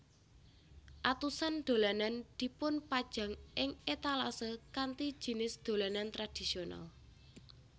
Atusan dolanan dipunpajang ing étalasae kanthi jinis dolanan tradisional